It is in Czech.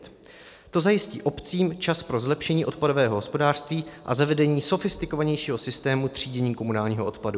To zajistí obcím čas pro zlepšení odpadového hospodářství a zavedení sofistikovanějšího systému třídění komunálního odpadu.